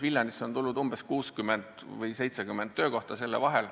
Viljandis on loodud 60 või 70 töökohta.